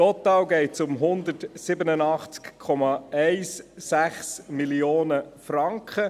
Total geht es um 187,16 Mio. Franken.